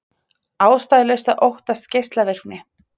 Ástæðulaust að óttast geislavirkni